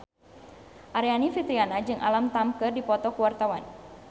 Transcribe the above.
Aryani Fitriana jeung Alam Tam keur dipoto ku wartawan